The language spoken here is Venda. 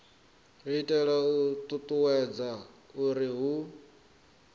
itela u ṱuṱuwedza uri hu